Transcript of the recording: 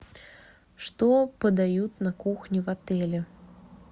что подают на кухне в отеле